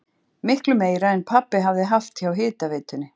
Miklu meira en pabbi hafði haft hjá hitaveitunni!